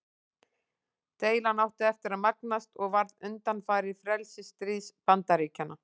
Deilan átti eftir að magnast og varð undanfari frelsisstríðs Bandaríkjanna.